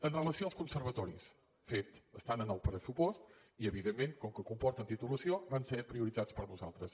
amb relació als conservatoris fet estan en el pressupost i evidentment com que comporten titulació van ser prioritzats per nosaltres